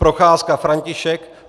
Procházka František